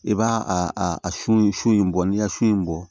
I b'a a a sun su in bɔ n'i y'a su in bɔ